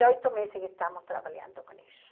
meses que estamos trabalhando com isso.